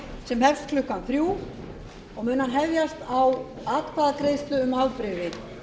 sem hefst klukkan þrjú og mun hann hefjast á atkvæðagreiðslu um afbrigði